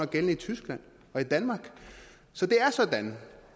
gældende i tyskland og i danmark så det er sådan